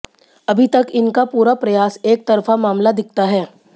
अभी तक इनका पूरा प्रयास एकतरफा मामला दिखता है